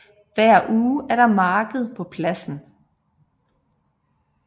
Hver uge er der marked på pladsen